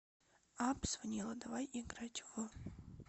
апп звонило давай играть в